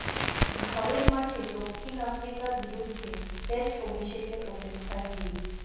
ঘরের মাঠে দক্ষিণ আফ্রিকার বিরুদ্ধে টেস্ট অভিষেকের অপেক্ষায় গিল